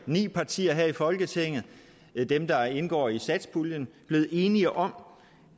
ni partier her i folketinget det er dem der indgår i satspuljen blevet enige om